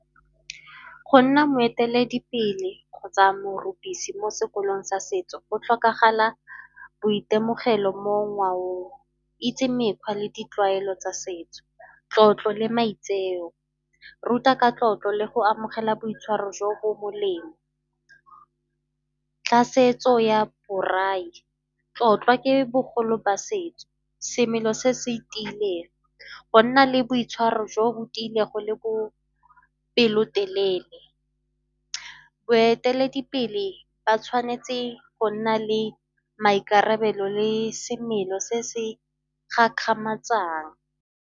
Go nna moeteledipele kgotsa morupisi mo sekolong sa setso go tlhokagala boitemogelo mo ngwaong. Itse mekgwa le ditlwaelo tsa setso, tlotlo le maitseo. Ruta ka tlotlo le go amogela boitshwaro jo bo molemo. Tlhasetso ya braai, tlotla ke bogolo ba setso, semelo se setiileng, go nna le boitshwaro jo bo tiilego le bopelotelele. Boeteledipele ba tshwanetse go nna le maikarabelo le semelo se se gakgamatsang.